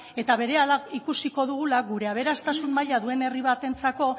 eta berehala ikusiko dugula gure aberastasun maila duen herri batentzako